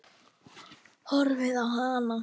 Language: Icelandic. Horfi á hana.